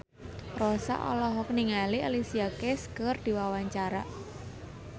Rossa olohok ningali Alicia Keys keur diwawancara